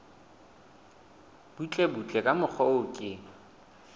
butlebutle ka mokgwa o ke